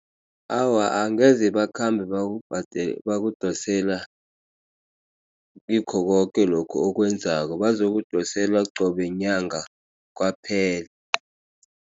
Awa angeze bakhambe bakudosela ngikho koke lokhu okwenzako bazokudosela qobe nyanga kwaphela.